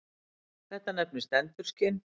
Þetta nefnist endurskin.